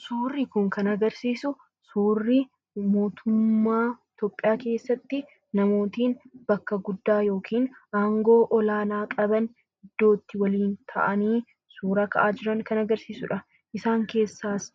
Suuraa kanaa gadii irraa kan mul'atu Mootummaa Itoophiyaa keessatti namoota aangoo olaanaa qaban ta'anii waliin ta'uun suuraa kan ka'aa jiran kan agarsiisuu dha. Isaan keessaas